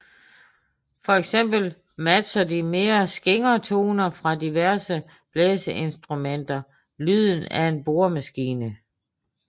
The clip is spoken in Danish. Fx matcher de mere skingre toner fra diverse blæseinstrumenter lyden af en boremaskine